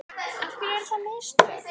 Af hverju eru það mistök?